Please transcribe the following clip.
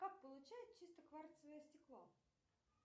как получают чистое кварцевое стекло